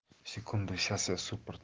секунду сейчас я супорт